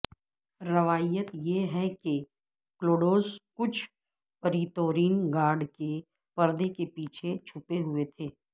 روایت یہ ہے کہ کلوڈوس کچھ پریتورین گارڈ کے پردے کے پیچھے چھپے ہوئے تھے